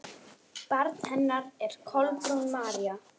Barn hennar er Kolbrún María.